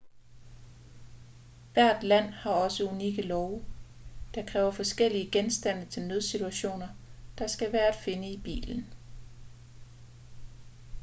hvert land har også unikke love der kræver forskellige genstande til nødsituationer der skal være at finde i bilen